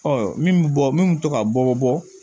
Ɔ min bɛ bɔ min bɛ to ka bɔ bɔ